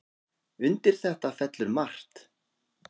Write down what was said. Undir þetta fellur margt.